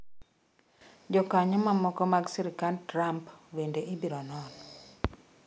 Jokanyo mamoko mag sirkand Trump bende ibiro non.